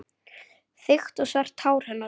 Þykkt og svart hár hennar.